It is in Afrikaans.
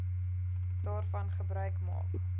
daarvan gebruik maak